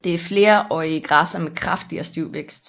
Det er flerårige græsser med kraftig og stiv vækst